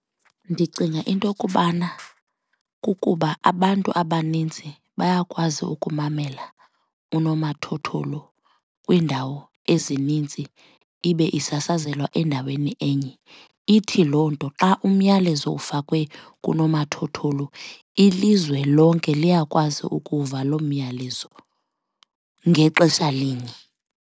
Ndicinga into kubana kukuba abantu abaninzi bayakwazi ukumamela unomathotholo kwiindawo ezininzi ibe isasazelwa endaweni enye. Ithi loo nto xa umyalezo ufakwe kunomathotholo ilizwe lonke liyakwazi ukuva loo myalezo ngexesha linye.